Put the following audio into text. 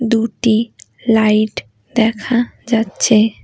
দুটি লাইট দেখা যাচ্ছে।